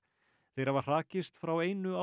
þeir hafa hrakist frá einu